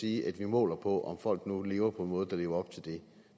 sige at vi måler på om folk nu lever på en måde der lever op til det